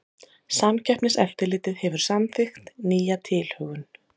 Samkeppniseftirlitið hefur samþykkt nýja tilhögun